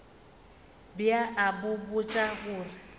be a ba botša gore